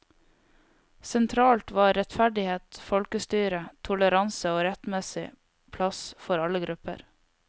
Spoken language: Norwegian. Sentralt var rettferdighet, folkestyre, toleranse og rettmessig plass for alle grupper.